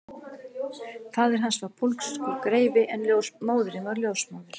Faðir hans var pólskur greifi en móðirin var ljósmóðir